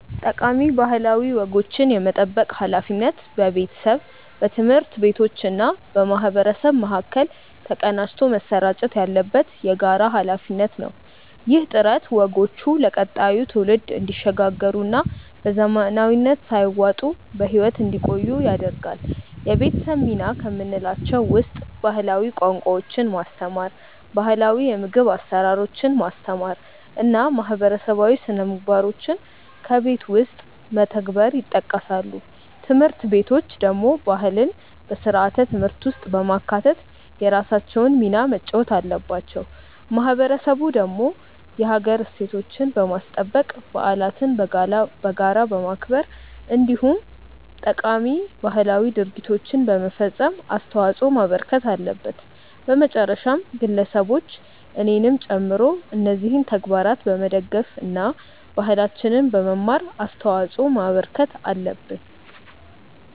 ጠቃሚ ባህላዊ ወጎችን የመጠበቅ ሃላፊነት በቤተሰብ፣ በትምህርት ቤቶችና በማህበረሰብ መካከል ተቀናጅቶ መሰራጨት ያለበት የጋራ ሃላፊነት ነው። ይህ ጥረት ወጎቹ ለቀጣዩ ትውልድ እንዲሸጋገሩና በዘመናዊነት ሳይዋጡ በህይወት እንዲቆዩ ያደርጋል። የቤተሰብ ሚና ከምንላቸው ውስጥ ባህላዊ ቋንቋዎችን ማስተማር፣ ባህላው የምግብ አሰራሮችን ማስተማር እና ማህበረሰባዊ ስነምግባሮችን በቤት ውስጥ መተግበር ይጠቀሳሉ። ትምህርት ቤቶች ደግሞ ባህልን በስርዓተ ትምህርት ውስጥ በማካተት የራሳቸውን ሚና መጫወት አለባቸው። ማህበረሰቡ ደግሞ የሀገር እሴቶችን በማስጠበቅ፣ በዓለትን በጋራ በማክበር እንዲሁም ጠቃሚ ባህላዊ ድርጊቶችን በመፈፀም አስተዋጽዖ ማበርከት አለበት። በመጨረሻም ግለሰቦች እኔንም ጨምሮ እነዚህን ተግባራት በመደገፍ እና ባህላችንን በመማር አስተዋጽዖ ማበርከት አለብን።